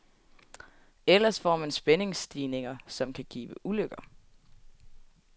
Ellers får man spændingsstigninger, som kan give ulykker.